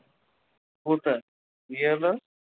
কোথায় বিয়ে হলো ওর?